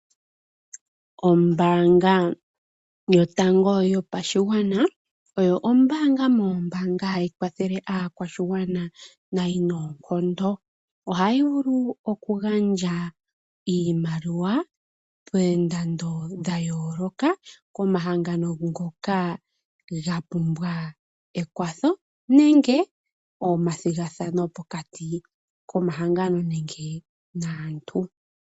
Ombaanga yotango yopashigwana oyo ombaanga moombaanga ookwawo hayi kwathele aakwashigwana nayi noonkondo . Ohayi vulu oku gandja iimaliwa yoondando dhayooloka komahangano ngoka ga pumbwa ekwatho nenge omathigathano pokati komahango nenge gaantu .